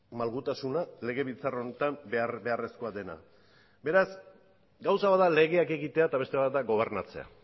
malgutasuna legebiltzar honetan behar beharrezkoa dena beraz gauza bat da legeak egitea eta beste bat da gobernatzea